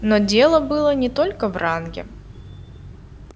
но дело было не только в ранге